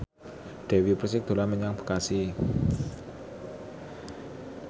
Dewi Persik dolan menyang Bekasi